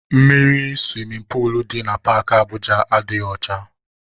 Mmiri suwimin puulu dị na Paakị Abụja adịghị ọcha.